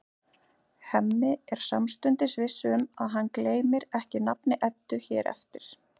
Hemmi er samstundis viss um að hann gleymir ekki nafni Eddu hér eftir.